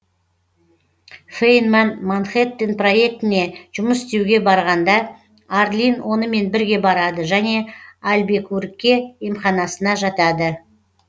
фейнман манхэттен проектіне жұмыс істеуге барғанда арлин онымен бірге барады және альбекурке емханасына жатады